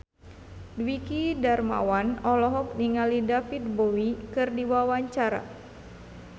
Dwiki Darmawan olohok ningali David Bowie keur diwawancara